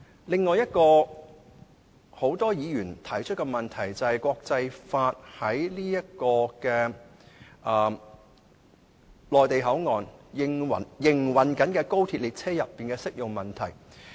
另一個很多議員提出的問題，便是國際法在內地口岸區營運中的高鐵列車車廂內的適用問題。